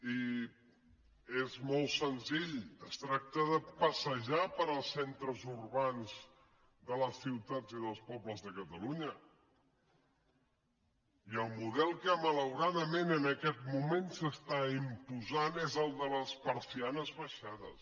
i és molt senzill es tracta de passejar pels centres urbans de les ciutats i dels pobles de catalunya i el model que malauradament en aquest moment s’imposa és el de les persianes abaixades